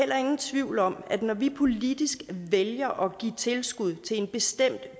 heller ingen tvivl om at når vi politisk vælger at give tilskud til en bestemt